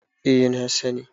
eh na sani